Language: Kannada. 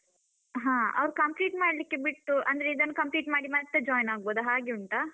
ಹಾ ಅವ್ರು complete ಮಾಡ್ಲಿಕ್ಕೆ ಬಿಟ್ಟು ಅಂದ್ರೆ ಇದನ್ನು complete ಮಾಡಿ ಮತ್ತೆ join ಆಗ್ಬೋದಾ ಹಾಗೆ ಉಂಟಾ?